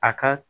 A ka